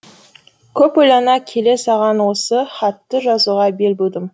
көп ойлана келе саған осы хатты жазуға бел будым